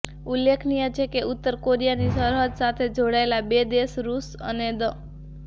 ઉલ્લેખનીય છે કે ઉત્તર કોરિયાની સરહદ સાથે જોડાયેલા બે દેશ રુશ અને દ